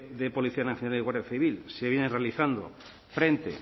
de policía nacional y guardia civil se vienen realizando frente